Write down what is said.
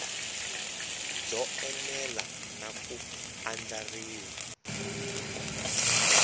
byo enela na ku andlariwa